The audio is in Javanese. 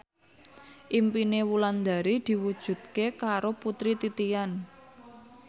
impine Wulandari diwujudke karo Putri Titian